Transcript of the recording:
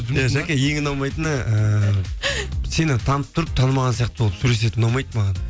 иә жаке ең ұнамайтыны ііі сені танып тұрып танымаған сияқты болып сөйлесетіні ұнамайды маған